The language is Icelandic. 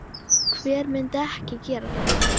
Hver myndi ekki gera það?